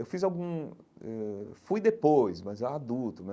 Eu fiz algum eh ãh fui depois, mas eu era adulto né.